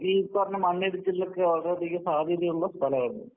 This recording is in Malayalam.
ഈ പറഞ്ഞ മണ്ണിടിച്ചിലിനൊക്കെ വളരെയധികം സാധ്യതയുള്ള സ്ഥലമാത്.